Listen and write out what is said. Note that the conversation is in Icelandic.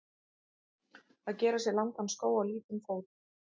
Að gera sér langan skó á lítinn fót